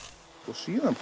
síðan